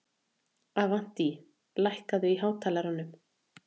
Avantí, lækkaðu í hátalaranum.